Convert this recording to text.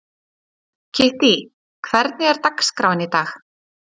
Kittý, hvernig er dagskráin í dag?